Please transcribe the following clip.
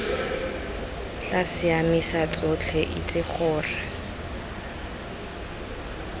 tla siamisa tsotlhe itse gore